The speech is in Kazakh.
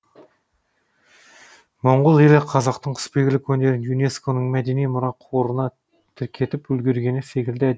моңғол елі қазақтың құсбегілік өнерін юнеско ның мәдени мұра қорына тіркетіп үлгіргені секілді